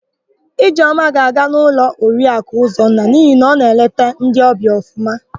Ijeọma ga-aga n'ụlọ Oriaku Ụzọnna n'ihi na ọ na-eleta ndị ọbịa ọfụma.